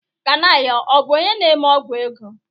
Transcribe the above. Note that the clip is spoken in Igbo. Kanayo ọ bụ onye na-eme ọ́gwụ̀ ego?